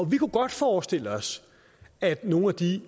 vi kunne godt forestille os at nogle af de